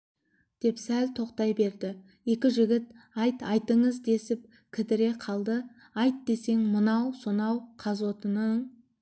деп сәл тоқтай берді екі жігіт айт айтыңыз десіп кідіре қалды айт десең мынау сонау қазотының